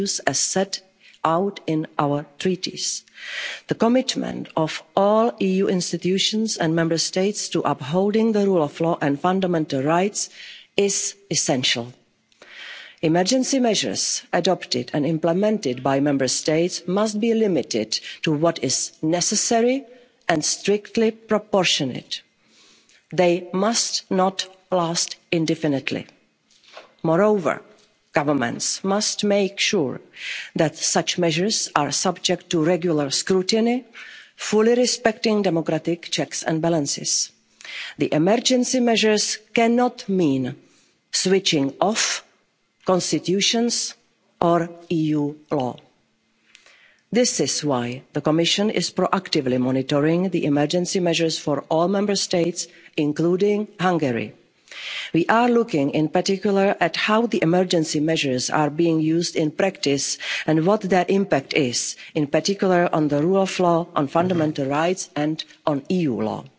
At the same time, the Commission has made clear from the outset that the response to this crisis must fully respect our fundamental principles and values as set out in our treaties. The commitment of all EU institutions and Member States to upholding the rule of law and fundamental rights is essential. Emergency measures adopted and implemented by Member States must be limited to what is necessary and strictly proportionate. They must not last indefinitely. Moreover, governments must make sure that such measures are subject to regular scrutiny, fully respecting democratic checks and balances. The emergency measures cannot mean switching off constitutions or EU law. This is why the Commission is proactively monitoring the emergency measures for all Member States, including Hungary. We are looking in particular at how the emergency measures are being used in practice and what their impact is, in particular on the rule of law, on fundamental rights and on EU